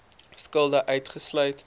skulde uitgesluit